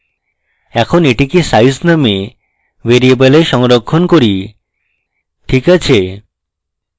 এখন এটিকে সাইজ নামক ভ্যারিয়েবলে সংরক্ষণ করি ok আছে